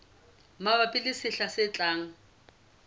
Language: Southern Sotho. mabapi le sehla se tlang